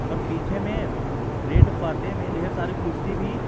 और पीछे में रेड पर्दे में ढेर सारी कुर्सी भी--